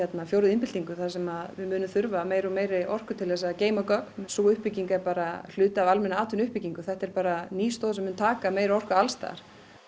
fjórðu iðnbyltingunni þar sem við munum þurfa meiri og meiri orku til að geyma gögn sú uppbygging er bara hluti af almennri atvinnuuppbyggingu þetta er bara ný stoð sem mun taka meiri orku alls staðar